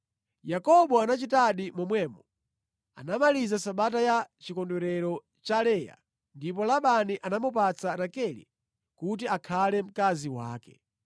Yakobo anachitadi momwemo. Anamaliza sabata ya chikondwerero cha Leya, ndipo Labani anamupatsa Rakele kuti akhale mkazi wake.